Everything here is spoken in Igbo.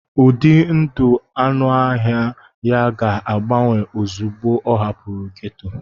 Ụdị ndụ anụ ọhịa ya ga-agbanwe ozugbo ọ hapụrụ gétò